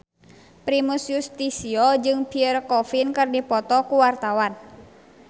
Primus Yustisio jeung Pierre Coffin keur dipoto ku wartawan